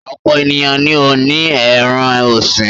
Ọ̀pọ̀ ènìyàn ni ó ní ẹran-ọ̀sìn.